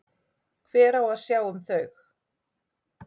Hver á að sjá um þau?